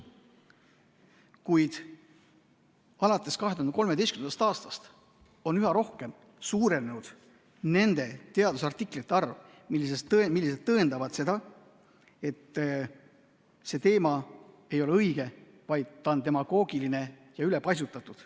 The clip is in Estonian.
Kuid alates 2013. aastast on üha rohkem suurenenud nende teadusartiklite arv, mis tõendavad seda, et see ei ole õige, vaid see teema on demagoogiline ja ülepaisutatud.